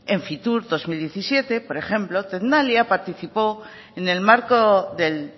en fitur dos mil diecisiete por ejemplo tecnalia participó en el marco del